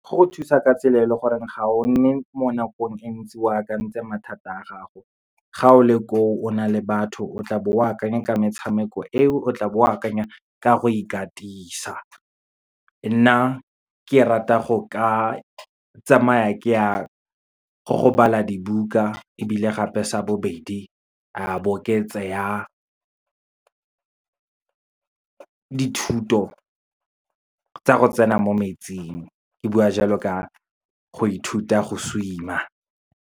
Go go thusa ka tsela e leng gore ga o nne mo nakong entsi o akantse mathata a gago. Ga o le ko o, o na le batho, o tla bo o akanya ka metshameko e o tla bo o akanya ka go ikatisa. Nna ke rata go ka tsamaya ke ya go bala dibuka, ebile gape sa bobedi a bo ke tseya dithuto tsa go tsena mo metsing, ke bua jalo ka go ithuta go swim-a.